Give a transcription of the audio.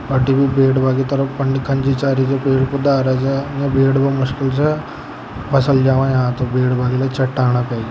अट्टी भी बैठबा की तरफ चाह री छ पेड़ पौधा छ उन्न बैठबो मुश्किल छ फसल जावां यहां तो बैठबा क लिया चट्टानां --